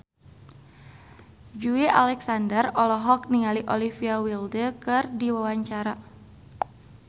Joey Alexander olohok ningali Olivia Wilde keur diwawancara